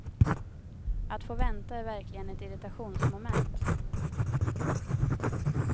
Att få vänta är verkligen ett irritationsmoment.